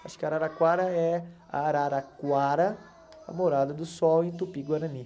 Acho que Araraquara é Araraquara, a morada do sol em Tupi-Guarani.